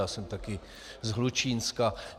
Já jsem také z Hlučínska.